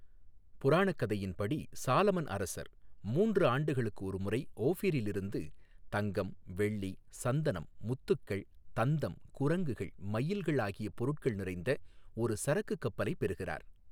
புராணக்கதையின்படி, Solomon அரசர் மூன்று ஆண்டுகளுக்கு ஒருமுறை ஓஃபிரிலிருந்து தங்கம், வெள்ளி, சந்தனம், முத்துகள், தந்தம், குரங்குகள், மயில்கள் ஆகிய பொருட்கள் நிறைந்த ஒரு சரக்குக் கப்பலைப் பெறுகிறார்.